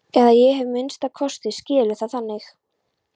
Eða ég hef að minnsta kosti skilið það þannig.